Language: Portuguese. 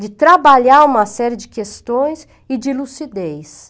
de trabalhar uma série de questões e de lucidez.